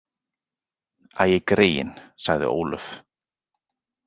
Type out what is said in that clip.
Æ, greyin, sagði Ólöf.